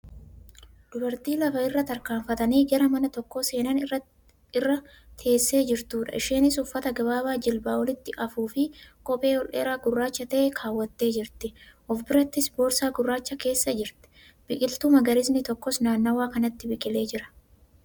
Dubartii lafa irra tarkaanfatanii gara mana tokko seenan irra teessee jirtudha. Isheenis uffata gabaabaa jilbaa olitti hafuufi kophee ol dheeraa gurraacha ta'e kaawwattee jirti. Of birattis boorsaa gurraacha keessee jirti. Biqiltuun magariisni tokkos naannawaa kanatti biqilee jira.